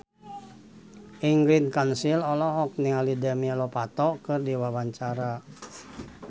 Ingrid Kansil olohok ningali Demi Lovato keur diwawancara